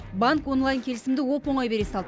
банк онлайн келісімді оп оңай бере салды